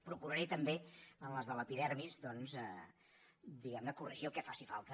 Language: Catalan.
procuraré també en les de l’epidermis doncs diguem ne corregir el que faci falta